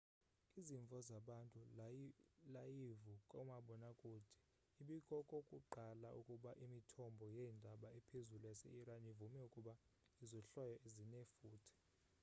izimvo zabantu layivu kumabonwakude ibikokokuqala ukuba imithombo yeendaba ephezulu yase iran ivume ukuba izohlwayo zinefuthe